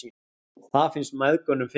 Það finnst mæðgunum fyndið.